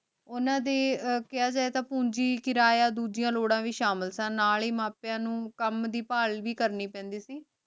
ਓਹਨਾਂ ਦੇ ਕਹਯ ਜੇ ਤਾਂ ਪੂੰਜੀ ਕਿਰਾਯ ਤਾਂ ਦੋਜਿਯਾਂ ਲੋਰਾਂ ਵੀ ਸ਼ਾਮਿਲ ਸਨ ਨਾਲ ਈ ਮਾਂ ਪਾਯਾ ਨੂ ਕਾਮ ਦੀ ਬਹਾਲ ਵੀ ਕਰਨੀ ਪੈਂਦੀ ਸੀ